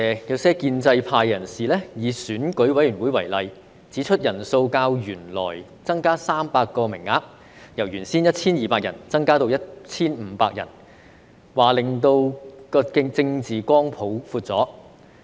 有些建制派人士以選舉委員會為例，指出人數較原來增加300名，由原先的 1,200 人增至 1,500 人，令政治光譜擴闊了。